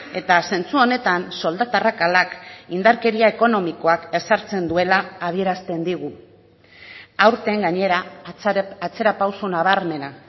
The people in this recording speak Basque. eta zentzu honetan soldata arrakalak indarkeria ekonomikoak ezartzen duela adierazten digu aurten gainera atzerapauso nabarmena